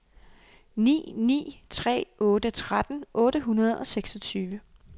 ni ni tre otte tretten otte hundrede og seksogtyve